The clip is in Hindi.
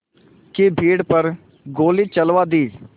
की भीड़ पर गोली चलवा दी